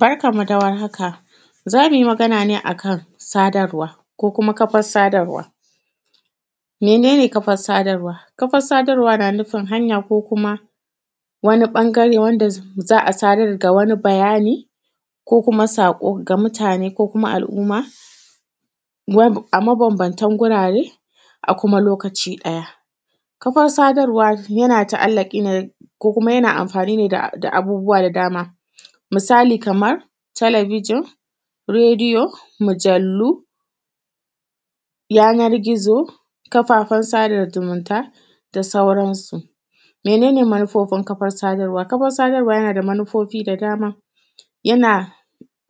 Barkan mu dawar haka zamuyi Magana ne akan sadarwa ko kafar sadarwa. Mane ne kafar sadarwa? Kafar sadarwa na nufin hanya ko kuma wani ɓangare wanda za’a sadaeda wani bayani ko kuma saƙo ga mutane ko kuma al’umma a maban bantan wurare a kuma lokaci ɗaya. Kafar sadarwa yina mafanine da abubuwa da dama misali kamar talabijin, radiyo, mujallu, yanar gizo, kafafen yaɗa zumunta da sauransu. Mane ne manufar kafar sadarwa? Kafar sadarwa yanada manufofi da dama yana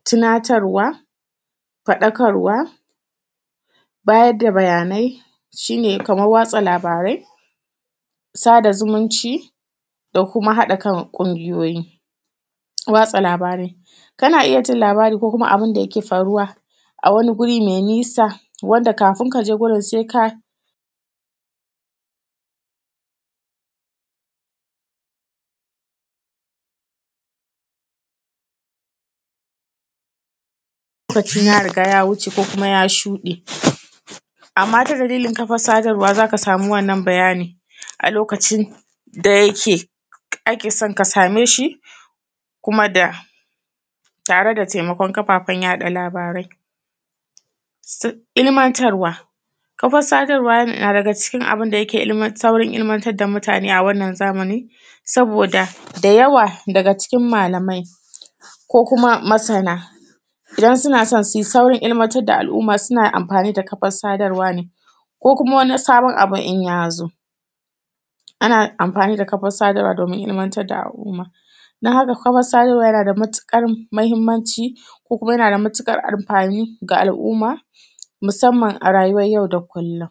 tunatarwa, faɗakarwa, bayarda bayanai, shine kamar watsa labarai sada zumunci da kuma haɗakan kungiyoyi Watsa labarai. Kana iyyajin labara ko kuma abunda yake faruwa a wani guri mai nisa wadda kafin kaje wurin saika lokacin ya riga ya wuce ko kuma ya shuɗe, amma ta dalilin kafar sadarwa zaka sami wannan bayani a lokacin da akeson ka sameshi tare da taimakon kafafen watsa labarai. Ilmantarwa kafar sadarwa na daga cikin abunda yake saurin ilmantar da mutane a wannan zamanin saboda da yawa daga cikin malamai ko kuma masana, idan sunason suyi saurin ilmantar da al’umma sunayin amafani da kafar sadarwa ne ko kuma wani sabon abun inya zo. Ana amfani da kafar sadarwa somin ilmantar da al’umma. An huɗu kuma sadarwa nada matuƙar mahimmanci ko kuma mahimmanci ga al’umma musamman a rayuwan yau da kullum.